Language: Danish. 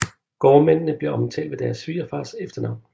Gårdmændene blev omtalt ved deres svigerfars efternavn